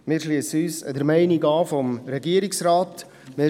Wir schliessen uns der Meinung des Regierungsrats an.